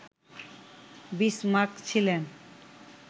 Bismarck ছিলেন